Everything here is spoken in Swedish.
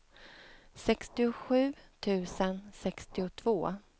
sextiosju tusen sextiotvå